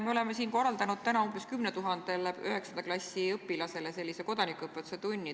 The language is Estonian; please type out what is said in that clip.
Me oleme siin täna korraldanud umbes 10 000-le 9. klassi õpilasele kodanikuõpetuse tunni.